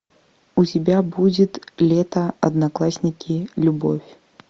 у тебя будет лето одноклассники любовь